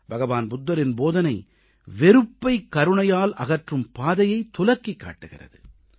புத்தபிரானின் போதனை வெறுப்பைக் கருணையால் அகற்றும் பாதையைத் துலக்கிக் காட்டுகிறது